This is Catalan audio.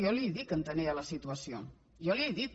i jo li he dit que entenia la situació jo li ho he dit